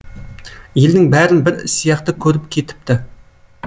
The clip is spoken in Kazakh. елдің бәрін бір сияқты көріп кетіпті